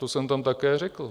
To jsem tam také řekl.